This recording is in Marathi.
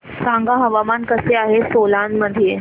सांगा हवामान कसे आहे सोलान मध्ये